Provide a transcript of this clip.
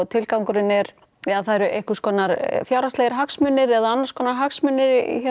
tilgangurinn er þar eru einhverjir fjárhagslegir hagsmunir eða aðrir hagsmunir